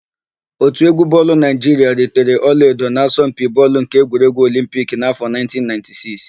Òtù égwú bọọlụ Naịjiria ritere ọlaedo n'asọmpi bọọlụ nke egwuregwu Olimpiki n'áfọ̀ 1996.